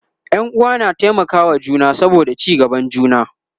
Ƴan uwa na taimaka wa juna saboda ci gaban juna